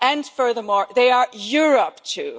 too. Furthermore, they are Europe